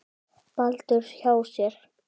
Baldurs hjá sér.